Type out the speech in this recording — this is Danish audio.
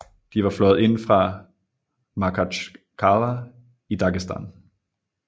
De var fløjet ind fra Makhachkala i Dagestan